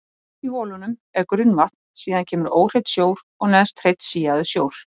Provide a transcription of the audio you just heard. Veit sennilega ekki hvað hann er að vilja þarna í sjoppunni.